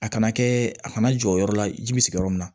A kana kɛ a kana jɔ yɔrɔ la ji bɛ sigi yɔrɔ min na